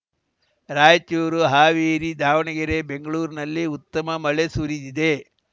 ರಾಯಚೂರು ಹಾವೇರಿ ದಾವಣಗೆರೆ ಬೆಂಗಳೂರಿನಲ್ಲಿ ಉತ್ತಮ ಮಳೆ ಸುರಿದಿದೆ